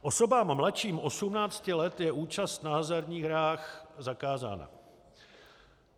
Osobám mladším 18 let je účast na hazardních hrách zakázána.